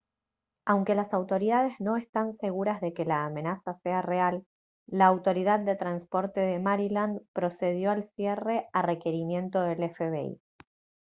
aunque las autoridades no están seguras de que la amenaza sea real la autoridad de transporte de maryland procedió al cierre a requerimiento del fbi